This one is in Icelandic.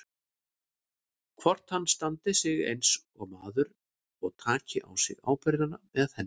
Hvort hann standi sig eins og maður og taki á sig ábyrgðina með henni.